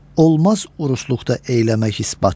Olmaz urusluqda eyləmək isbat.